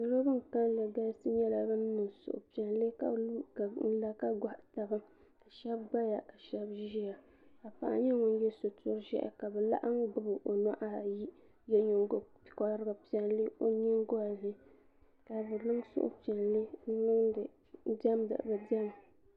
salo bin kanli nyɛla bin niŋ suhupiɛlli ka lu ka la ka gohi taba shab gbaya ka shab ʒiya ka paɣa nyɛ ŋun yɛ sitiri ʒiɛhi ka bi laɣam gbubi o o nuhi ayi ka yɛ nyingokori piɛlli o nyingoli ni ka bi niŋ suhupiɛlli n diɛmdi bi diɛma